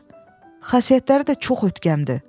Xasiyyətləri də çox ötkəmdir.